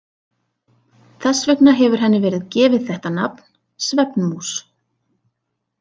Þess vegna hefur henni verið gefið þetta nafn, svefnmús.